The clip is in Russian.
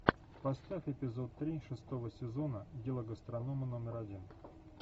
поставь эпизод три шестого сезона дело гастронома номер один